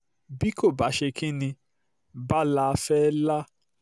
bí kó bàa-ṣe kín ní um báa-la fẹ́ẹ́ lá